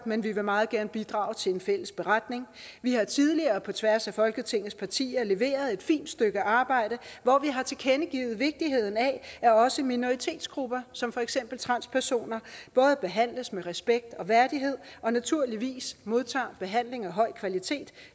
men vi vil meget gerne bidrage til en fælles beretning vi har tidligere på tværs af folketingets partier leveret et fint stykke arbejde hvor vi har tilkendegivet vigtigheden af at også minoritetsgrupper som for eksempel transpersoner både behandles med respekt og værdighed og naturligvis modtager behandling af høj kvalitet